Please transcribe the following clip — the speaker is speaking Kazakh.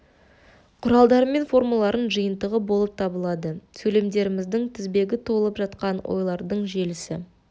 құралдары мен формаларының жиынтығы болып табылады сөйлемдеріміздің тізбегі толып жатқан ойлардың желісі